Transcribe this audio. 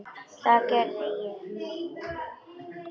Það gerði ég.